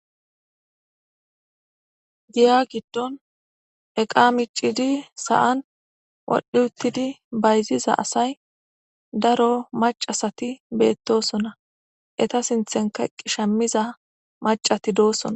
giya giddon eqa micidi sa7an wodhdhi uttidi bayziza asay daro macasati beettosona eta sinthenka qishamiza macati doosona